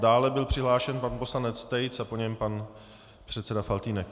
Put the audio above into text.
Dále byl přihlášen pan poslanec Tejc a po něm pan předseda Faltýnek.